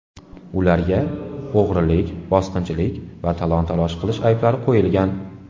Ularga o‘g‘rilik, bosqinchilik va talon-taroj qilish ayblari qo‘yilgan.